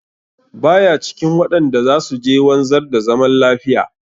Ba ya cikin waɗanda za su je wanzar da zaman lafiya.